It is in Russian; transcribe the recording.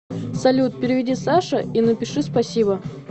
салют переведи саше и напиши спасибо